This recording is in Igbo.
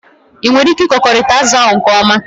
Ị nwere ike ịkekọrịta azụ ahụ nke ọma?